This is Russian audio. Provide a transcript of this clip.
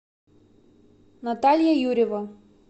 наталья юрьева